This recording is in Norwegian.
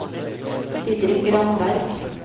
Didrik Ramberg